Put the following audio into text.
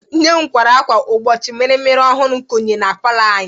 Nne m kwara akwa mgbochi mirimiri ọhụrụ konye na palọ anyị